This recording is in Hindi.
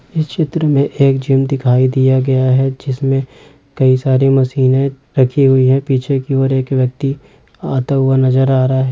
इस चित्र मे एक जिम दिखाई दिया गया है जिसमे कई सारे मशीने रखी हुई है पीछे की ओर एक व्यक्ति आता हुआ नजर आ रहा है।